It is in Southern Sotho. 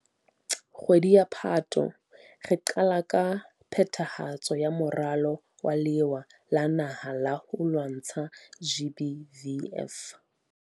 Kgwedi ya Phato, re qala ka phethahatso ya Moralo wa Lewa la Naha la ho lwantsha GBVF.